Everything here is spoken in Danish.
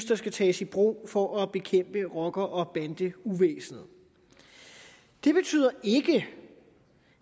der skal tages i brug for at bekæmpe rocker og bandeuvæsenet det betyder ikke